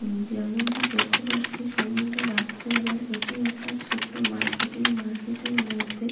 যেমনটি দেখতে পাচ্ছি সময়টা রাত্রি বেলার এটি একটা ছোট্ট মার্কেট এই মার্কেট -এর মধ্যে--